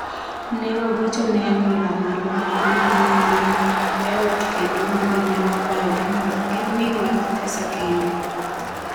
Ne wagocho ne anyuola marwa ma ne ni e ot kendo mondo ne wakwayogi mondo gimiwa pesa kendo.